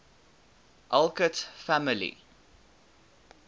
alcott family